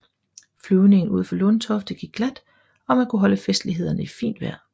Flyvningen ud til Lundtofte gik glat og man kunne holde festlighederne i fint vejr